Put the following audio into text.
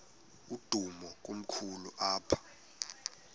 umdudo komkhulu apha